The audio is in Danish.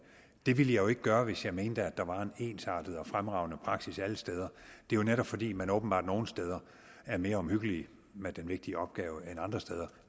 det ville jeg jo ikke gøre hvis jeg mente at der var en ensartet og fremragende praksis alle steder det er jo netop fordi man åbenbart nogle steder er mere omhyggelige med den vigtige opgave end andre steder